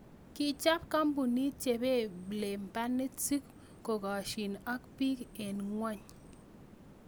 Kichob koombunit cheebeblebanit si kokaasyiin ak biik en ngo�ny�